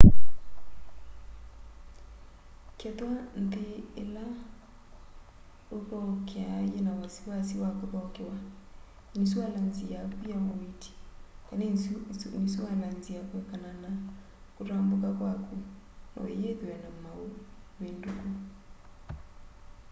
kethwa nthĩ ĩla ũũthokea yĩna wasiwasi wa kũthokewa ĩnisualanzĩ yakũ ya ũĩĩti kana ĩnisualanzĩ ya kũekana na kũtambũka kwakũ noyĩthwe na maũvĩndũkũ